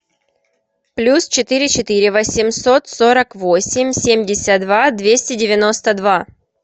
плюс четыре четыре восемьсот сорок восемь семьдесят два двести девяносто два